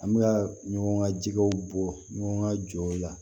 An bɛ ka ɲɔgɔn ka jɛgɛw bɔ ɲɔgɔn ka jɔ la